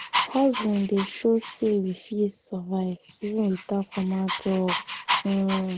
hustling dey show sey we fit survive even without formal job. um